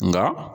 Nka